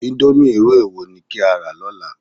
Íńdómì irú èwo ni kí á rà lọ́la?